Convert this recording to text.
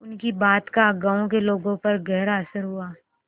उनकी बात का गांव के लोगों पर गहरा असर हुआ